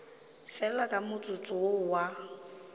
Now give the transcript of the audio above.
fela ka motsotso wo a